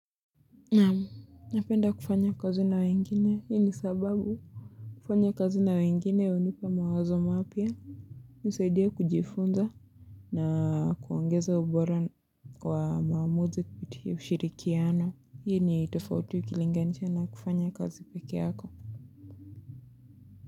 Napenda kufanya kazi na wengine hii ni sababu kufanya kazi na wengine hunipa mawazo mapya. Nisaidia kujifunza. Na kuongeza ubora kwa maamuzi kupitia ushirikiano. Hii ni tofauti ukilinganisha na kufanya kazi pekeyako.